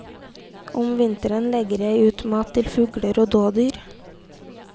Om vinteren legger jeg ut mat til fugler og dådyr.